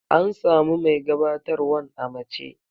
An samu mai gabatarwan a mace.